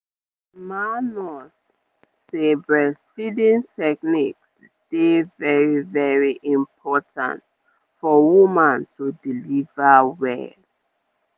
our ma nurse say breastfeeding techniques dey very very important for woman to deliver well.